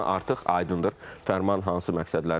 Yəni artıq aydındır fərman hansı məqsədləri görür.